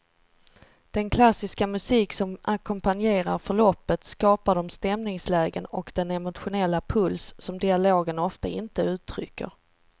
Den klassiska musik som ackompanjerar förloppet skapar de stämningslägen och den emotionella puls som dialogen ofta inte uttrycker.